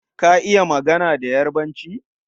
Ka iya magana da Yarbanci?